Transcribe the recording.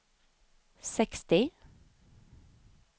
sextio